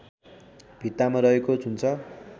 भित्तामा रहेको हुन्छ